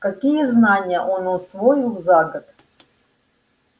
какие знания он усвоил за год